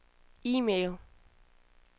e-mail